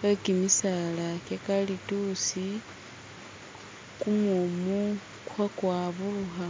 we kimisaala kyakalitusi kumumu khe kwaburukha